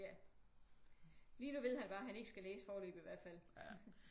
Ja. Lige nu ved han bare han ikke skal læse foreløbig i hvert fald